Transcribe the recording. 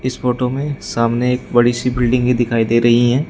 इस फोटो में सामने एक बड़ी सी बिल्डिंग ही दिखाई दे रही हैं।